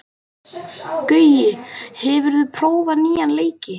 Gaui, hefur þú prófað nýja leikinn?